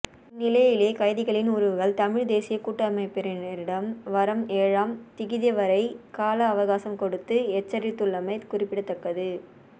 இந்நிலையிலேயே கைதிகளின் உறவுகள் தமிழ் தேசியக் கூட்டமைபினரிடம் வரம் ஏழாம் திகதிவரை கால அவகாசம் கொடுத்த எச்சரித்தள்ளமை குறிப்பிடத்தக்கது